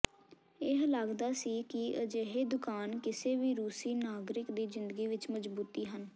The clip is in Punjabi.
ਇਹ ਲੱਗਦਾ ਸੀ ਕਿ ਅਜਿਹੇ ਦੁਕਾਨ ਕਿਸੇ ਵੀ ਰੂਸੀ ਨਾਗਰਿਕ ਦੀ ਜ਼ਿੰਦਗੀ ਵਿਚ ਮਜ਼ਬੂਤੀ ਹਨ